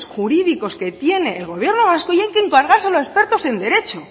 jurídicos que tiene el gobierno vasco y hay que encargárselo a expertos en derecho